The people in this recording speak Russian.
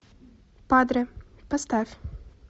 падре поставь